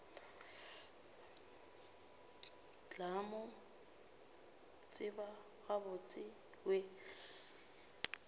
tla mo tseba gabotse we